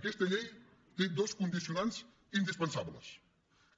aquesta llei té dos condicionants indispensables